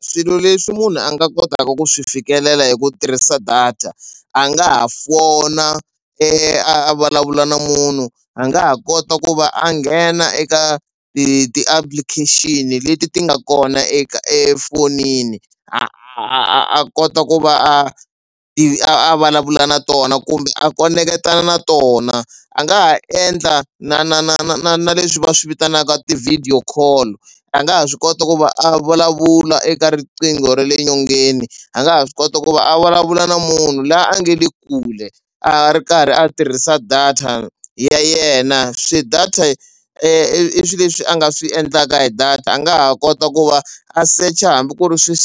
Swilo leswi munhu a nga kotaka ku swi fikelela hi ku tirhisa data a nga ha fona a vulavula na munhu a nga ha kota ku va a nghena eka ti-application leti ti nga kona eka efonini a a a kota ku va a i a vulavula na tona kumbe a koneketa na tona. A nga ha endla na na na na na na leswi va swi vitanaka ti-video call a nga ha swi kota ku va a vulavula eka riqingho ra le nyongeni a nga ha swi kota ku va a vulavula na munhu laha a nga le kule a ri karhi a tirhisa data ya yena. Swi data i swilo leswi a nga swi endlaka hi data a nga ha kota ku va a secha hambi ku ri swi